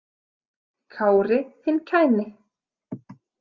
Kári hinn kæni.